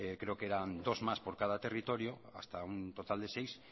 creo que eran dos más por cada territorio hasta un total de seis